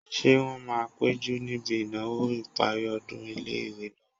Ṣé wọ́n máa péjú níbi ìnáwó ìparí ọdún ilé-ìwé náà?